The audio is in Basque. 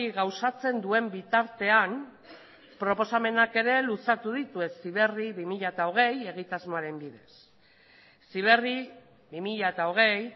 gauzatzen duen bitartean proposamenak ere luzatu ditu heziberri bi mila hogei egitasmoaren bidez heziberri bi mila hogei